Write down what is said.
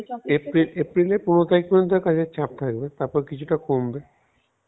April April এর পনের তারিখ পর্যন্ত কাজের চাপ থাকবে তারপর কিছুটা কমবে